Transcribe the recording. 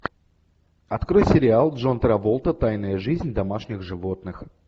открой сериал джон траволта тайная жизнь домашних животных